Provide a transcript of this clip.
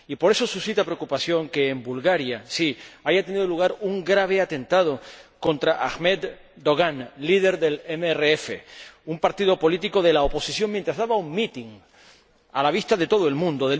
Y por eso suscita preocupación que, en Bulgaria, haya tenido lugar un grave atentado contra Ahmed Dogan, líder del MRF, un partido político de la oposición, mientras daba un mitin, a la vista de todo el mundo.